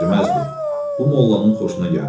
Bu mollanın xoşuna gəldi.